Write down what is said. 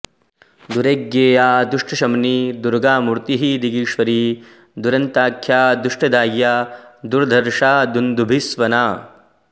दुर्ज्ञेया दुष्टशमनी दुर्गामूर्तिः दिगीश्वरी दुरन्ताख्या दुष्टदाह्या दुर्धर्षा दुन्दुभिस्वना